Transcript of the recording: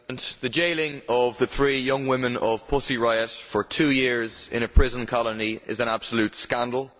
Mr President, the jailing of the three young women of Pussy Riot for two years in a prison colony is an absolute scandal.